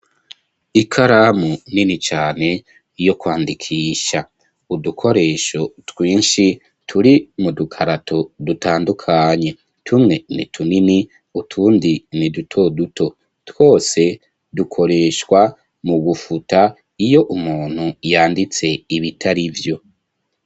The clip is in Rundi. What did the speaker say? Ikaramu nini cyane yo kwandikisha udukoresho twinshi turi mu dukarato dutandukanye tumwe ni tunini utundi ni duto duto twose dukoreshwa mu gufuta iyo umuntu yanditse ibitari vyo.